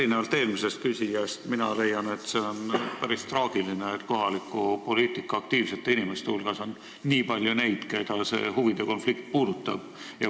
Erinevalt eelnevast küsijast mina leian, et see on päris traagiline, et kohalikus poliitikas aktiivsete inimeste hulgas on nii palju neid, keda see huvide konflikt puudutab.